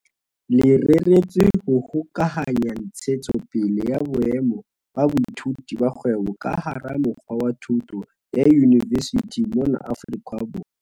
Le reretswe ho hokahanya ntshetsopele ya boemo ba boithuti ba kgwebo ka hara mokga wa thuto ya yunivesithi mona Afrika Borwa.